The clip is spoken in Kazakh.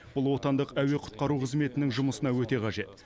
бұл отандық әуе құтқару қызметінің жұмысына өте қажет